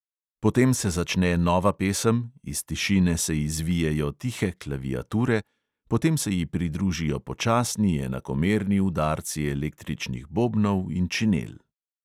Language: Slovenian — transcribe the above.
Potem se začne nova pesem, iz tišine se izvijejo tihe klaviature, potem se ji pridružijo počasni, enakomerni udarci električnih bobnov in činel.